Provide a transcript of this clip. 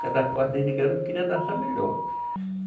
Cada garoto queria dançar melhor.